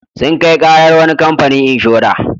Sun kai ƙarar wani kamfani inshora.